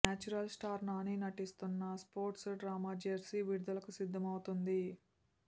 natural star Nani నటిస్తున్న sports drama Jersey విడుదలకు సిద్దమవుతుంది